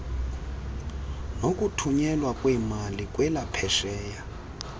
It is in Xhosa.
nokuthunyelwa kweemali kwelaphesheya